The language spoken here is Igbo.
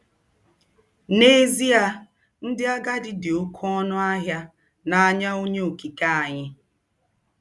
N'ezie, ndị agadi dị oké ọnụ ahịa n'anya Onye Okike anyị.